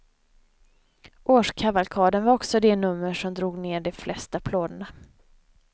Årskavalkaden var också det nummer som drog ner de flesta applåderna.